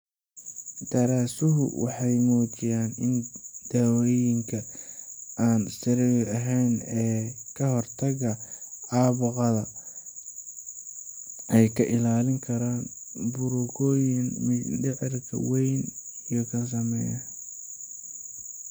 Daraasaduhu waxay muujiyeen in dawooyinka aan steroid ahayn ee ka hortagga caabuqa (NSAIDs) ay ka ilaalin karaan burooyinka mindhicirka weyn inay sameysmaan.